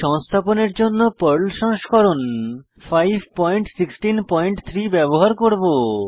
সংস্থাপনের জন্য পর্ল সংস্করণ 5163 ব্যবহার করব